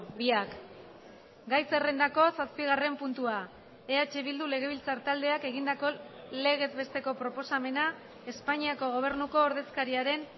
biak gai zerrendako zazpigarren puntua eh bildu legebiltzar taldeak egindako legez besteko proposamena espainiako gobernuko ordezkariaren